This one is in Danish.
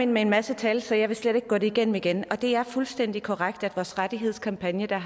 med en masse tal så jeg vil slet ikke gå det igennem igen og det er fuldstændig korrekt at vores rettighedskampagne der